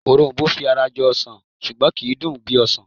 Òrom̀bó fi ara jọ ọsàn ṣùgbọ́n kì í dùn bí ọsàn